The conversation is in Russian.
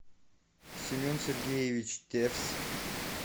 семен сергеевич тевс